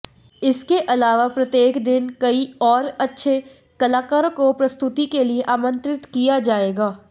इसके अलावा प्रत्येक दिन कई और अच्छे कलाकारों को प्रस्तुति के लिए आमंत्रित किया जाएगा